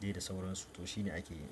dai da sauransu to shine ake yi.